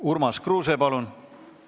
Urmas Kruuse, palun!